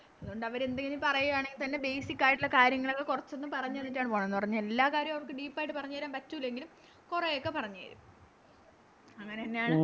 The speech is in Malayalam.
അതുകൊണ്ട് അവര് എന്തേലും പറയാണെങ്കി തന്നെ Basic ആയിട്ടൊള്ള കാര്യങ്ങളങ് കൊറച്ചൊന്ന് പറഞ്ഞ് തന്നിട്ടാണ് പോണത് എന്ന് പറഞ്ഞ് എല്ലാ കാര്യോം അവർക്ക് Deep ആയിട്ട് പറഞ്ഞേരാൻ പറ്റൂലെങ്കിലും കൊറെയൊക്കെ പറഞ്ഞേരും അങ്ങനെന്നെയാണ്